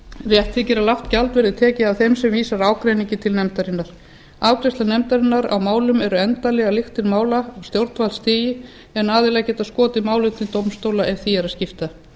rétt þykir að lágt gjald verði tekið af þeim sem vísar ágreiningi til nefndarinnar afgreiðslur nefndarinnar á málum eru endanlegar lyktir mála á stjórnvaldsstigi en aðilar geta skotið málum til dómstóla ef því er að skipta